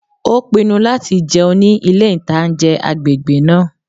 Ó pinnu láti jẹun ní ilé-ìtánjẹ agbègbè náà